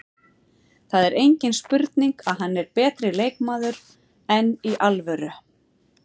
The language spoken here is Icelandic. Það er engin spurning að hann er betri leikmaður, enn í alvöru?